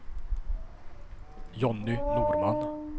Jonny Norman